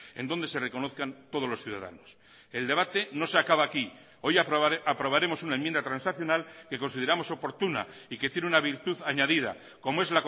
en donde se reconozcan todos los ciudadanos el debate no se acaba aquí hoy aprobaremos una enmienda transaccional que consideramos oportuna y que tiene una virtud añadida como es